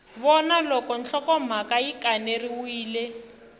vona loko nhlokomhaka yi kaneriwile